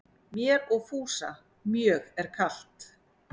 Mér og Fúsa mjög er kalt